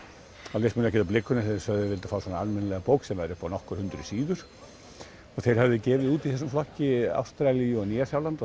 þá leist mér ekkert á blikuna þegar þeir vildu fá svona almennilega bók sem væri upp á nokkur hundruð síður og þeir höfðu gefið út í þessum flokki Ástralíu og Nýja Sjáland og